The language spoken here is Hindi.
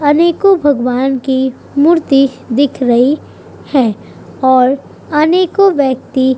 अनेकों भगवान की मूर्ति दिख रही हैं और अनेकों व्यक्ति --